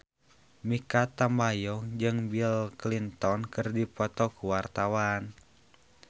Mikha Tambayong jeung Bill Clinton keur dipoto ku wartawan